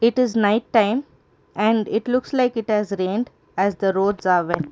it is night time and it looks like it has rained as the road are wet.